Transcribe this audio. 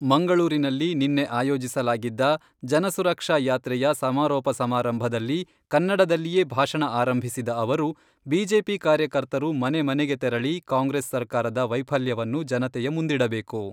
ಮಂಗಳೂರಿನಲ್ಲಿ ನಿನ್ನೆ ಆಯೋಜಿಸಲಾಗಿದ್ದ ಜನಸುರಕ್ಷಾ ಯಾತ್ರೆಯ ಸಮಾರೋಪ ಸಮಾರಂಭದಲ್ಲಿ ಕನ್ನಡದಲ್ಲಿಯೇ ಭಾಷಣ ಆರಂಭಿಸಿದ ಅವರು, ಬಿಜೆಪಿ ಕಾರ್ಯಕರ್ತರು ಮನೆ ಮನೆಗೆ ತೆರಳಿ ಕಾಂಗ್ರೆಸ್ ಸರಕಾರದ ವೈಫಲ್ಯವನ್ನು ಜನತೆಯ ಮುಂದಿಡಬೇಕು.